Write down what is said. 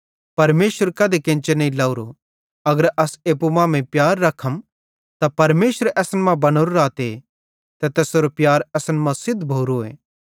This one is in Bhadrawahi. परमेशर कधी केन्चे नईं लवरो अगर अस एप्पू मांमेइं प्यार रखम त परमेशर असन मां बनो रहते ते तैसेरो प्यार असन मां सिद्ध भोरोए